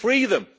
We free them.